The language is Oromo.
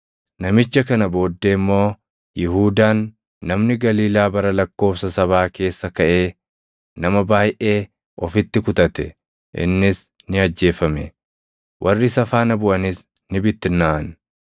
Namicha kana booddee immoo Yihuudaan, namni Galiilaa bara lakkoobsa sabaa keessa kaʼee nama baayʼee ofitti kutate; innis ni ajjeefame; warri isa faana buʼanis ni bittinnaaʼan.